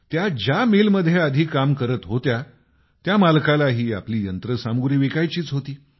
त्या ज्या मिलमध्ये आधी काम करत होत्या त्या मालकालाही आपली यंत्रसामुग्री विकायचीच होती